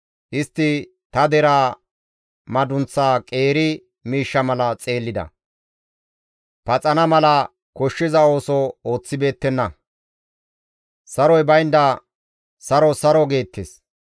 Istti ta deraa madunththaa qeeri miishsha mala xeellida; paxana mala koshshiza ooso ooththibeettenna; Saroy baynda, ‹Saro; saro› geettes.